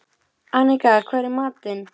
Annika, hvað er í matinn?